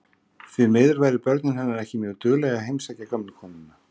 Því miður væru börnin hennar ekki mjög dugleg að heimsækja gömlu konuna.